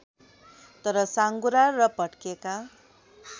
तर साँघुरा र भत्केका